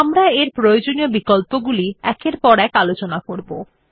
আমরা এর প্রয়োজনীয় বিকল্পগুলি একের পর এক আলোচনা করবো